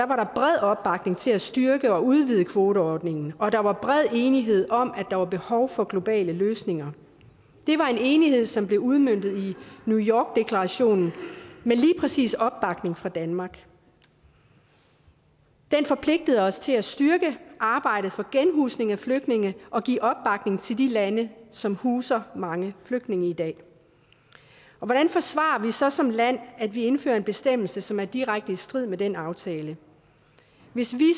var der bred opbakning til at styrke og udvide kvoteordningen og der var bred enighed om at der var behov for globale løsninger det var en enighed som blev udmøntet i new york deklarationen med lige præcis opbakning fra danmark den forpligtede os til at styrke arbejdet for genhusning af flygtninge og give opbakning til de lande som huser mange flygtninge i dag og hvordan forsvarer vi så som land at vi indfører en bestemmelse som er direkte i strid med den aftale hvis vi